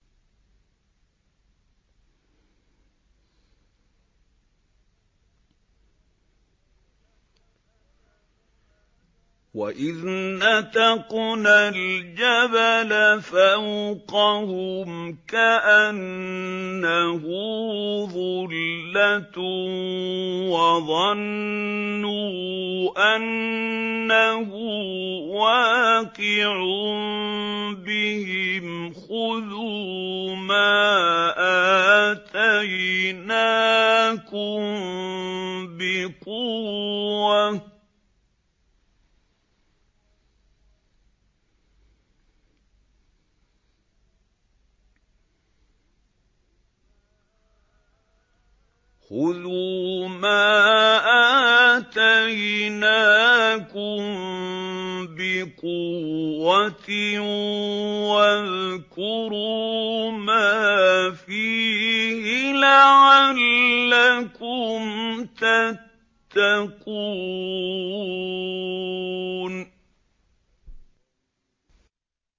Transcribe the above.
۞ وَإِذْ نَتَقْنَا الْجَبَلَ فَوْقَهُمْ كَأَنَّهُ ظُلَّةٌ وَظَنُّوا أَنَّهُ وَاقِعٌ بِهِمْ خُذُوا مَا آتَيْنَاكُم بِقُوَّةٍ وَاذْكُرُوا مَا فِيهِ لَعَلَّكُمْ تَتَّقُونَ